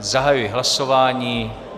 Zahajuji hlasování.